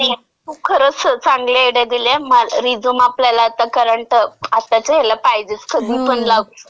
नाही, नाही. तू खरंच चांगल्या आयडिया दिल्यास, म्हणजे रिझ्यूम आपल्याला करंट म्हणजे आत्ताच्या ह्याला पाहिजेच. कधी पण लागू शकतंय.